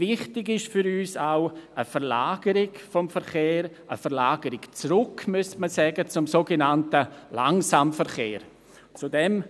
Wichtig für uns ist auch eine Verlagerung des Verkehrs zum sogenannten Langsamverkehr, also eigentlich eine Verlagerung zurück.